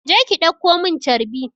Je ki ɗauko mun carbi!